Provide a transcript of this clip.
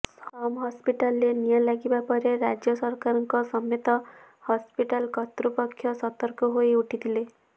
ସମ୍ ହସ୍ପିଟାଲରେ ନିଆଁ ଲାଗିବା ପରେ ରାଜ୍ୟ ସରକାରଙ୍କ ସମେତ ହସ୍ପିଟାଲ କର୍ତୃପକ୍ଷ ସତର୍କ ହୋଇ ଉଠିଥିଲେ